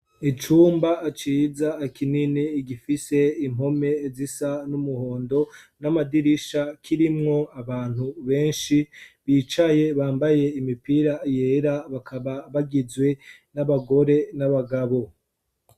Icumba ciza kinini gifise impome zisa n'umuhondo n'amadirisha kirimwo abantu beshi bicaye bambaye imipira yera bakaba bagizwe n'abagore n'abagabo.